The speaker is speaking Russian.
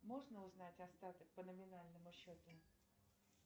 можно узнать остаток по номинальному счету